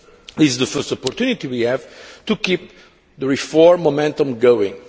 This is the first opportunity we have to keep the reform momentum going.